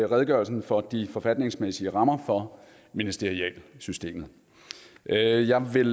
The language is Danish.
redegørelsen for de forfatningsmæssige rammer for ministerialsystemet jeg jeg vil